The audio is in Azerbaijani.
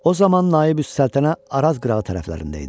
O zaman Naibüs Səltənə Araz qırağı tərəflərində idi.